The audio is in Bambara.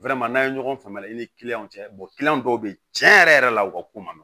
n'a ye ɲɔgɔn faamuya i ni cɛ dɔw be yen cɛn yɛrɛ yɛrɛ la u ka ko man nɔgɔ